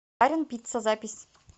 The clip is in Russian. барин пицца запись